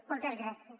moltes gràcies